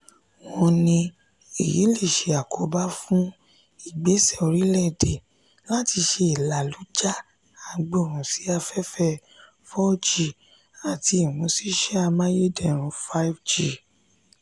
wọn ní èyí lè ṣe àkóbá fún ìgbesẹ̀ orile-ede lati se ìlàlújá agbohun sí afẹ́fẹ́ four g àti imusise amayederun five g